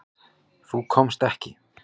Þú komst ekki.